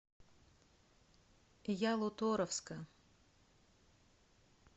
ялуторовска